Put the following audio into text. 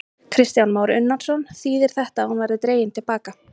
Kristján Már Unnarsson: Þýðir þetta að hún verði dregin til baka?